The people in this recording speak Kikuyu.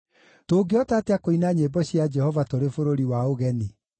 Tũngĩhota atĩa kũina nyĩmbo cia Jehova tũrĩ bũrũri wa ũgeni?